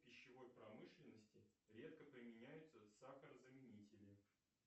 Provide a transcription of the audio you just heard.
в пищевой промышленности редко применяются сахара заменители